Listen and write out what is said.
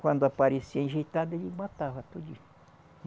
Quando aparecia enjeitado, ele matava tudinho